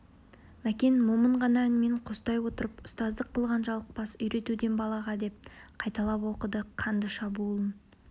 мәкен момын ғана үнмен қостай отырып ұстаздық қылған жалықпас үйретуден балаға деп қайталап оқыды қанды шабуылын